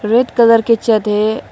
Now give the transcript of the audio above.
Red colour के छत है।